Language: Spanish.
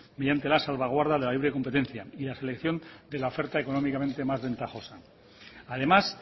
mediante la salvaguarda de la ley de la competencia y la selección de la oferta económicamente más ventajosa además